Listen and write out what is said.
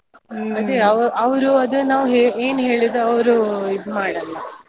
ಅದೇ ಅವ್ರು ಅದ್ ನಾವ್ ಏನ್ ಹೇಳಿದ್ರು ಅವ್ರು ಇದ್ ಮಾಡಲ್ಲ.